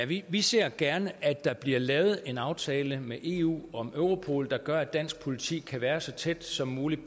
vi vi ser gerne at der bliver lavet en aftale med eu om europol der gør at dansk politi kan være så tæt som muligt